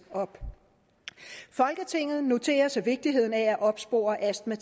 folketinget noterer sig vigtigheden af at opspore astma